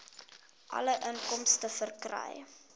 alle inkomste verkry